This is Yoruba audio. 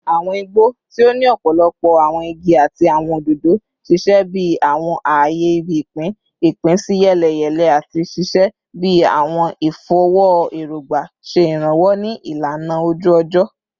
Awọn igbo, ti o ni ọpọlọpọ awọn igi ati awọn ododo, ṣiṣẹ bi awọn aaye ibi-ipin ipinsiyeleyele ati ṣiṣẹ bi awọn ifọwọ erogba, ṣe iranlọwọ ni ilana oju-ọjọ